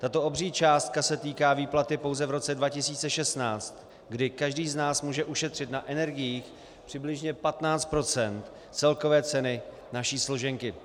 Tato obří částka se týká výplaty pouze v roce 2016, kdy každý z nás může ušetřit na energiích přibližně 15 % celkové ceny naší složenky.